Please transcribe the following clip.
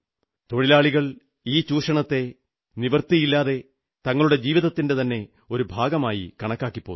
തൊഴിലാളികൾ ഈ ചൂഷണത്തെ നിവൃത്തിയില്ലാതെ തങ്ങളുടെ ജീവിതത്തിന്റെ ഒരു ഭാഗമായിത്തന്നെ കണക്കാക്കിപ്പോന്നു